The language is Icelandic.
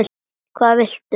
Hvað viltu?